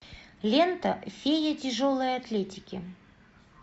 лента фея тяжелой атлетики